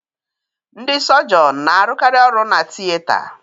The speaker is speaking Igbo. Ndị sọgionu n'arukari ọrụ na-tiyeta